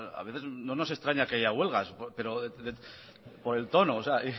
no nos extraña que haga huelgas por el tono